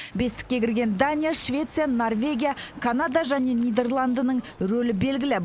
бестікке кірген дания швеция норвегия канада және нидерландының рөлі белгілі